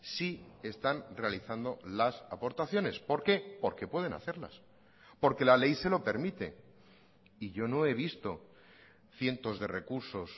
sí están realizando las aportaciones por qué porque pueden hacerlas porque la ley se lo permite y yo no he visto cientos de recursos